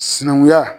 Sinankunya